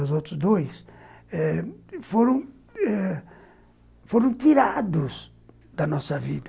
Os outros dois eh foram eh tirados da nossa vida.